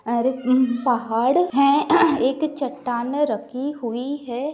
और हम्म्म एक पहाड़ है एक चटाने रखी हुई है।